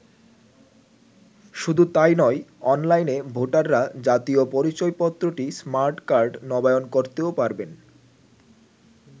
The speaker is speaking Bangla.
শুধু তাই নয় অনলাইনে ভোটাররা জাতীয় পরিচয়পত্রটি স্মার্ট কার্ড নবায়ন করতেও পারবেন।